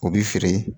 U bɛ feere